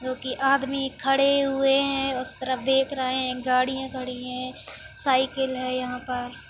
जो की आदमी खड़े हुए हैं उस तरफ देख रहे हैं गाडियां खड़ी हैं साइकिल है यहाँ पर।